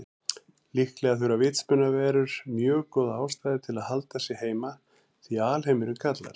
Líklega þurfa vitsmunaverur mjög góða ástæðu til að halda sig heima því alheimurinn kallar.